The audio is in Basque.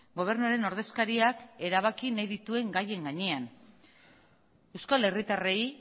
gobernuaren ordezkariak erabaki nahi dituen gaien gainean euskal herritarrei